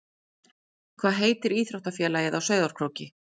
Hvað heitir íþróttafélagið á Sauðárkróki?